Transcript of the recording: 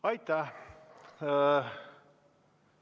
Aitäh!